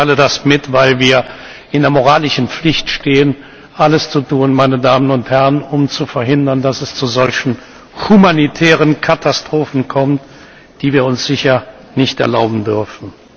Ich teile das mit, weil wir in der moralischen Pflicht stehen, alles zu tun, um zu verhindern, dass es zu solchen humanitären Katastrophen kommt, die wir uns sicher nicht erlauben dürfen.